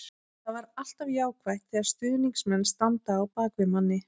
Það er alltaf jákvætt þegar stuðningsmenn standa á bak við manni.